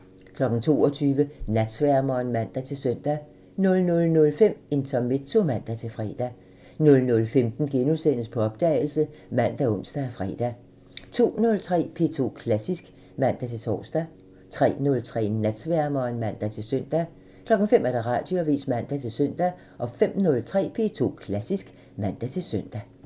22:00: Natsværmeren (man-søn) 00:05: Intermezzo (man-fre) 00:15: På opdagelse *( man, ons, fre) 02:03: P2 Klassisk (man-tor) 03:03: Natsværmeren (man-søn) 05:00: Radioavisen (man-søn) 05:03: P2 Klassisk (man-søn)